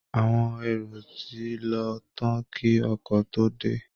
Àwọn èrò ti lọ tán kí ọkọ̀ tó dé